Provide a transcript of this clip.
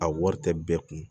A wari tɛ bɛɛ kun